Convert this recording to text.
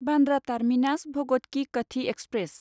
Bandra terminus Bhagat Ki Kothi express